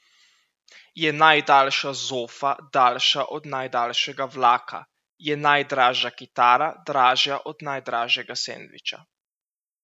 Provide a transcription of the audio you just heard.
Je najdaljša zofa daljša od najdaljšega vlaka, je najdražja kitara dražja od najdražjega sendviča?